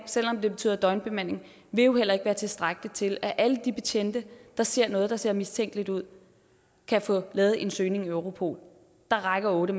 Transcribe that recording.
selv om det betyder døgnbemanding vil jo heller ikke være tilstrækkeligt til at alle de betjente der ser noget der ser mistænkeligt ud kan få lavet en søgning i europol der rækker otte